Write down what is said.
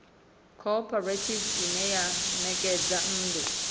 khophorethivi ine ya ṋekedza nnḓu